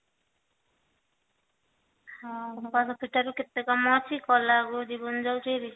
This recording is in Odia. ଘୋଷାରି ପିଟାରୀ କେତେ କାମ ଅଛି କାଳ ବେଳକୁ ଜୀବନ ଯାଉଛି ବାହାରି